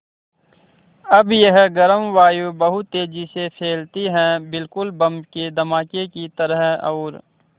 अब यह गर्म वायु बहुत तेज़ी से फैलती है बिल्कुल बम के धमाके की तरह और